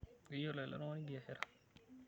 Keyiolo ele tung'ani biashara.